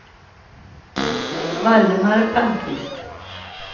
Valdemar Palmqvist